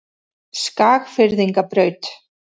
Skagfirðingabraut